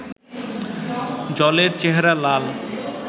জলের চেহারা লাল